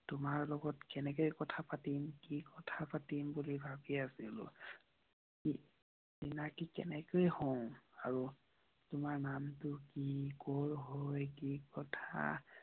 তোমাৰ লগত কেনেকৈ কথা পাতিম, কি কথা পাতিম বুলি ভাবি আছিলোঁ। আৰু তোমাৰ নাম টো কি? কোৰ হয়, কি কথা।